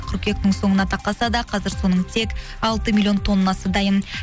қырқүйектің соңына тақаса да қазір соның тек алты миллион тоннасы дайын